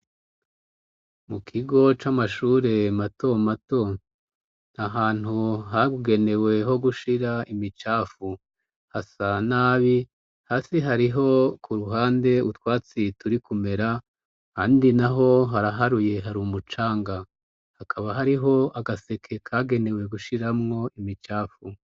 Mu kigo c'amashure mato mato ahantu hagugeneweho gushira imicafu hasa nabi hasi hariho ku ruhande utwatsi turi kumera handi na ho haraharuye hari umucanga hakaba hariho agaseke kagenewe we gushiramwo imicafu.